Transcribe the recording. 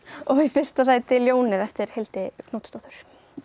og í fyrsta sæti ljónið eftir Hildi Knútsdóttur